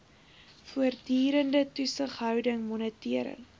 voortdurende toesighouding monitering